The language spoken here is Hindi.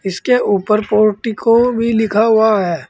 इसके ऊपर पोर्टिको भी लिखा हुआ है।